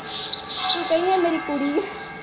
ਤੂੰ ਕਹੀ ਇਹ ਮੇਰੀ ਕੁੜੀ ਹੈ।